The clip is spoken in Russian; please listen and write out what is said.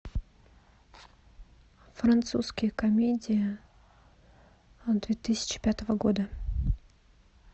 французские комедии две тысячи пятого года